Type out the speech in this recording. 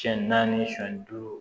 Siyɛn naani siyɛn duuru